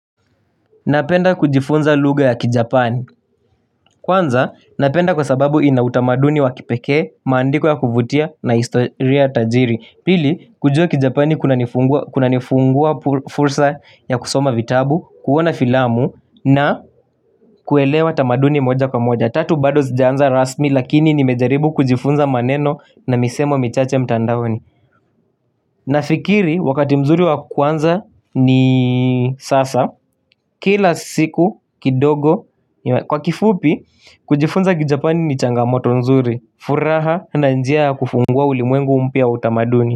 Napenda kujifunza lugha ya kijapani. Kwanza napenda kwa sababu inautamaduni wa kipekee, maandiko ya kuvutia na historia tajiri. Pili kujua kijapani kunanifungua fursa ya kusoma vitabu, kuona filamu na kuelewa tamaduni moja kwa moja. Na tatu bado sijaanza rasmi lakini nimejaribu kujifunza maneno na misemo michache mtandaoni. Nafikiri wakati mzuri wa kwanza ni sasa kila siku kidogo kwa kifupi kujifunza kijapani ni changamoto nzuri. Furaha na njia kufungua ulimwengu mpya wa utamaduni.